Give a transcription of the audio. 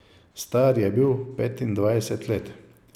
Star je bil petindvajset let.